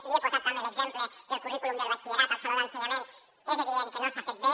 li he posat també l’exemple del currículum del batxillerat al saló de l’ensenyament és evident que no s’ha fet bé